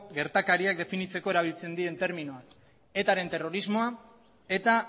gertakariak definitzeko erabiltzen diren terminoak etaren terrorismoa eta